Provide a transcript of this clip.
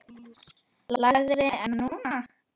lægri en nú.